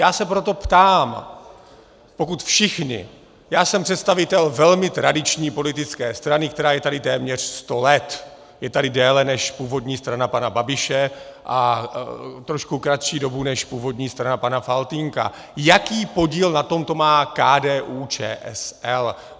Já se proto ptám, pokud všichni - já jsem představitel velmi tradiční politické strany, která je tady téměř sto let, je tady déle než původní strana pana Babiše a trošku kratší dobu než původní strana pana Faltýnka - jaký podíl na tomto má KDU-ČSL.